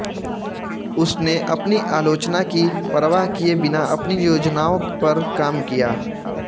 उसने अपनी आलोचना की परवाह किए बिना अपनी योजनाओं पर काम किया